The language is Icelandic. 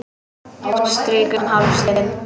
Strýk um háls þinn.